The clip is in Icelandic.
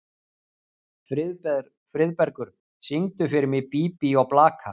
Friðbergur, syngdu fyrir mig „Bí bí og blaka“.